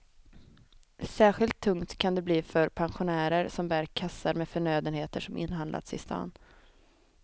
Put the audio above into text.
Särskilt tungt kan det bli för pensionärer som bär kassar med förnödenheter som inhandlats i stan.